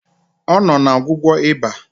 Ọ nọ na ọgwụgwọ ịba